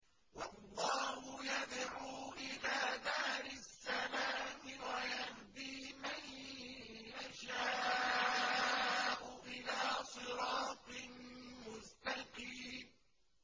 وَاللَّهُ يَدْعُو إِلَىٰ دَارِ السَّلَامِ وَيَهْدِي مَن يَشَاءُ إِلَىٰ صِرَاطٍ مُّسْتَقِيمٍ